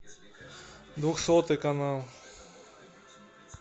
двухсотый канал